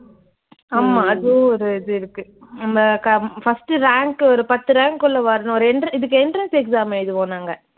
ஆமா அதுவும் ஒரு இது இருக்கு. நம்ப க ஹம் first உ rank உ ஒரு பத்து rank குள்ள வரணும். ஒரு extra இதுக்கு entrance exam எழுதுவோம் நாங்க